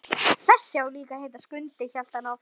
Þessi á líka að heita Skundi, hélt hann áfram.